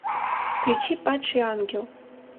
включи падший ангел